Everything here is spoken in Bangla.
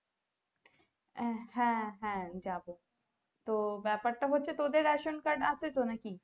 আহ হ্যাঁ হ্যাঁ যাবো তো ব্যাপার টা হচ্ছে তোদের ration card আছে তো নাকি